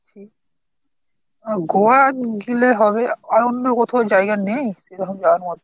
গোয়া গেলে হবে আর অন্য কোথাও জায়গা নেই ।